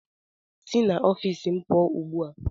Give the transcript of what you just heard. Si n'ọfiisi m pụọ ugbu a!